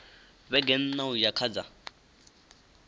vhege nṋa uya kha dza